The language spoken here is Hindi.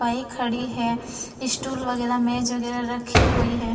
पाई खड़ी है स्टूल वगैरा मेज वगैरा रखी हुई है।